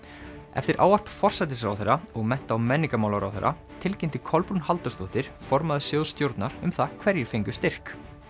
eftir ávarp forsætisráðherra og mennta og menningarmálaráðherra tilkynnti Kolbrún Halldórsdóttir formaður sjóðsstjórnar um það hverjir fengu styrk